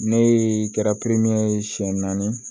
Ne kɛra ye siɲɛ naani